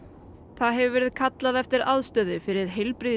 það hefur verið kallað eftir aðstöðu fyrir